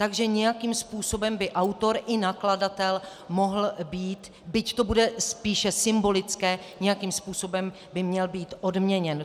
Takže nějakým způsobem by autor i nakladatel mohl být, byť to bude spíše symbolické, nějakým způsobem by měl být odměněn.